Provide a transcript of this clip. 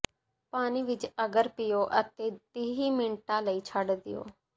ਪਾਣੀ ਵਿਚ ਅਗਰ ਪੀਓ ਅਤੇ ਤੀਹ ਮਿੰਟਾਂ ਲਈ ਛੱਡ ਦਿਓ